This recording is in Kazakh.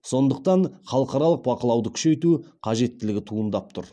сондықтан халықаралық бақылауды күшейту қажеттілігі туындап тұр